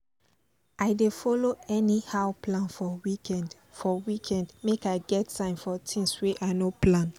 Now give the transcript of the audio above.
i dey follow anyhow plan for weekend for weekend make i get time for things wey i no plan